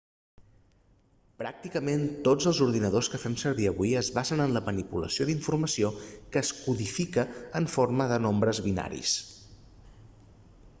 pràcticament tots els ordinadors que fem servir avui es basen en la manipulació d'informació que es codifica en forma de nombres binaris